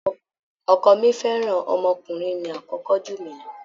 Ọkọ mi fẹ́ràn ọmọkùnrin mi àkọ́kọ́ jù mí lọ.